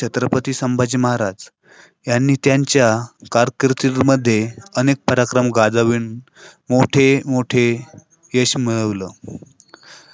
ह्यांचा जीवन देखील त्यांच्या वडिलांसारखाच देशाला आणि हिन्दू धर्माला समर्पित होत महाराजांनी लहानपणी च मिळालेल्या शिक्षणातून राज्याच्या